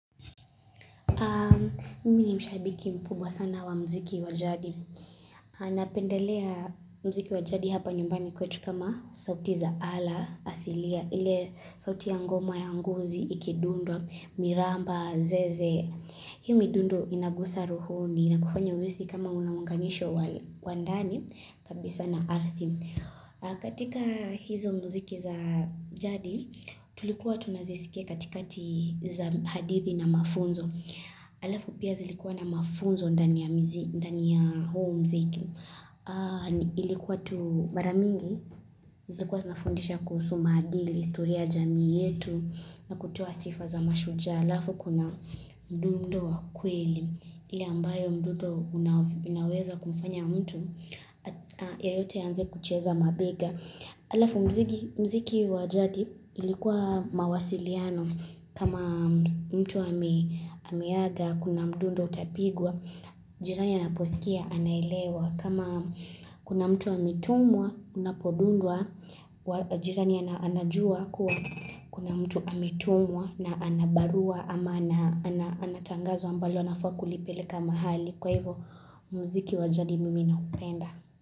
Mimi ni shabiki mkubwa sana wa muziki wa jadi. Napendelea muziki wa jadi hapa nyumbani kwetu kama sauti za ala, asilia, ile sauti ya ngoma ya ngozi, ikidundwa, miramba, zeze. Hii midundo inagusa rohoni na kufanya uhisi kama una unganisho wa ndani, kabisa na arthi. Katika hizo muziki za jadi, tulikuwa tunazisikia katika za hadithi na mafunzo. Alafu pia zilikuwa na mafunzo ndani ya mizi, ndani ya huu muziki. Ilikuwa tu mara mingi, zilikuwa zinafundisha kuhusu maadili historia ya jamia yetu na kutoa sifa za mashujaa. Alafu kuna mdundo wa kweli, ile ambayo mdundo unaweza kumfanya mtu yeyote aanze kucheza mabega. Alafu muziki wa jadi ilikuwa mawasiliano. Kama mtu ameaga, kuna mdundo utapigwa, jirani anaposikia anaelewa. Kama kuna mtu ametumwa, unapodundwa, jirani anajua kuwa kuna mtu ametumwa na ana barua ama ana tangazo ambalo anafaa kulipeleka mahali. Kwa hivyo muziki wa jadi mimi naupenda.